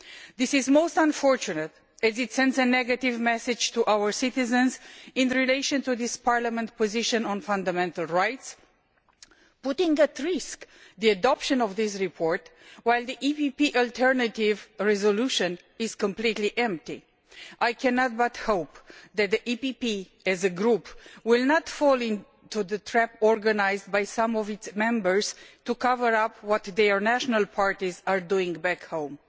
This is most unfortunate as it sends a negative message to our citizens in relation to this Parliament's position on fundamental rights, putting at risk the adoption of this report, while the EPP alternative resolution is completely empty. I cannot but hope that the EPP, as a Group, will not fall into the trap organised by some of its Members to cover up what their national parties are doing back home.